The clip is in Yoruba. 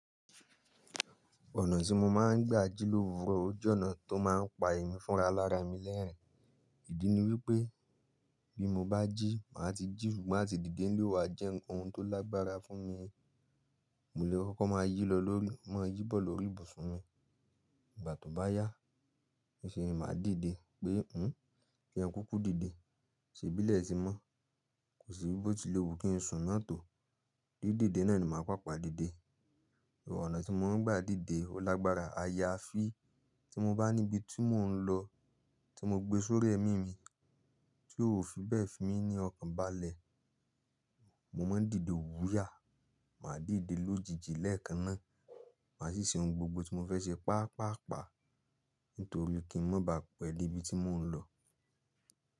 Ọ̀nà tí mo máa ń gbà jí lówuro ó jẹ́ ọ̀nà tó máa ń pa ẹ̀mí fúnra lára mi lẹ́rìn-ín. Ìdí ni wípé bí mo bá jí, màá ti jí, ṣùgbọ́n àti dìde nílẹ̀ ó wa jẹ́ ohun tó lágbára fún mi. Mò lè kókó máa yílọ lórí máa yíbọ̀ lórí ibùsùn mi. Ìgbà tó bá yá, mi ṣe é máa dìde pé "hín, kí ẹ kúkú dìde, ṣe bílẹ̀ ti mọ́. Kò síi bó ti léwu kí n sùn náà tò." Díde náà ni màá pàpa dìde. Ọ̀nà tí mo ń gbà dìde ó lágbára aya fi tí mo bá níbi tí mò ń lọ tí mo gbé sórí ẹ̀mí mi tí ò fi bẹ̀ fí mi ní ọkànbalẹ̀, mo máa ń dìde wúyà. Màá dìde lójijì lẹ́ẹ̀kan náà. Màá sì ṣe ohun gbogbo tí mo fẹ́ ṣe pàápàá ní torí kí n má baà pẹ́ débi tí mò ń lọ.